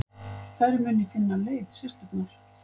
Þær muni finna leið, systurnar.